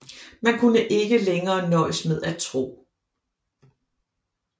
Man kunne ikke længere nøjes med tro